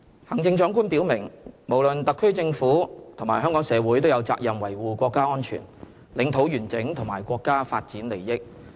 行政長官表明，無論特區政府及香港社會都有責任維護國家安全、領土完整和國家發展利益。